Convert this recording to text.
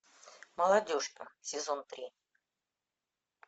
молодежка сезон три